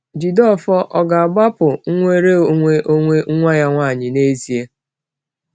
Jideofor ò ga-agbapụ nnwere onwe onwe nwa ya nwanyị n’ezie?